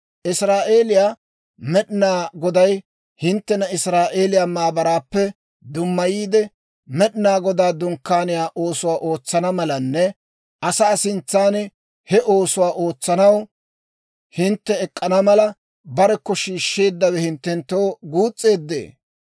Israa'eeliyaa Med'inaa Goday hinttena Israa'eeliyaa maabaraappe dummayiide, Med'inaa Godaa Dunkkaaniyaa oosuwaa ootsana malanne asaa sintsan he oosuwaa ootsanaw hintte ek'k'ana mala, barekko shiishsheeddawe hinttenttoo guus's'eeddee?